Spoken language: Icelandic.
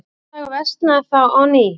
Loftslag versnaði þá á ný.